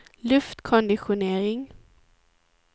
luftkonditionering